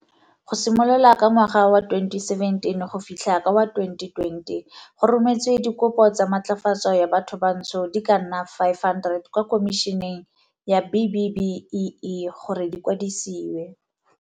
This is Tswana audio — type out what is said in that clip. Go simolola ka ngwaga wa 2017 go fitlha ka wa 2020, go rometswe dikopo tsa matlafatso ya bathobantsho di ka nna 500 kwa Khomišeneng ya B-BBEE gore di kwadisiwe.